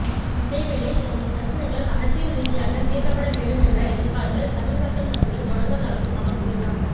அதேவேளை தமது பிரச்சினைகள் அரசியல் ரீதியாக தீர்க்கப்பட வேண்டும் என்ற எதிர்பார்ப்பு தமிழ் மக்கள் மத்தியில் தொடர்வதாகவும் அவர் கூறினார்